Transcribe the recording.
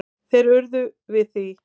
Þeir urðu við því.